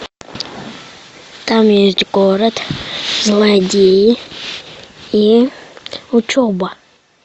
там есть город злодеи и учеба